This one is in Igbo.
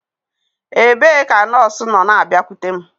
Ebee ka nọọsụ nọ na-abịakwute m?